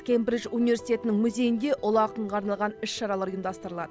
кембридж университетінің музейінде ұлы ақынға арналған іс шаралар ұйымдастырылады